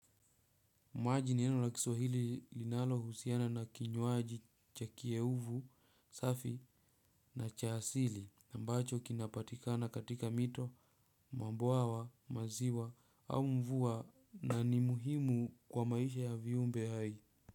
Maji ni neno la kiswahili linalohusiana na kinywaji cha kieuvu, safi na cha asili ambacho kinapatikana katika mito, mabwawa, maziwa au mvua na ni muhimu kwa maisha ya viumbe hai.